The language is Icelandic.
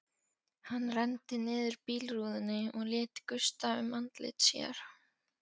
Hann renndi niður bílrúðunni og lét gusta um andlit sér.